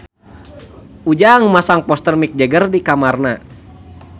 Ujang masang poster Mick Jagger di kamarna